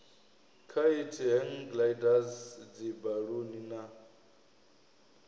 khaithi hang gliders dzibaluni na